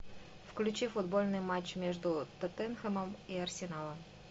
включи футбольный матч между тоттенхэмом и арсеналом